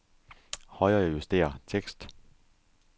Højrejuster tekst.